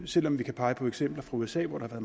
selv om vi kan pege på eksempler fra usa hvor der har